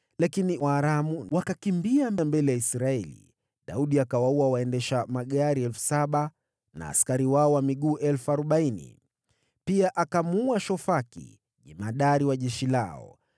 Lakini Waaramu wakakimbia mbele ya Israeli, naye Daudi akawaua waendesha magari 7,000 na askari wao wa miguu 40,000. Pia akamuua Shofaki, jemadari wa jeshi lao.